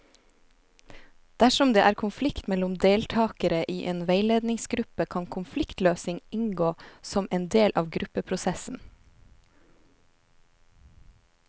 Dersom det er konflikt mellom deltakere i en veiledningsgruppe, kan konfliktløsning inngå som en del av gruppeprosessen.